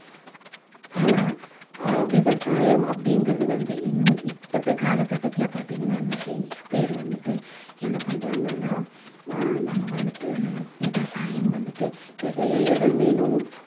ஆனா அஹ் விவசாயம் அப்படிங்கிறது வந்து இந்த்~ இப்பத்து காலகட்டத்துல பார்த்தீங்கன்னா நிறைய பேரு வந்துட்டு என்ன பண்றாங்கன்னா ஆஹ் நம்ம வந்துட்டு விவசாயம் வந்துட்டு நிறைய இடம் வேணும்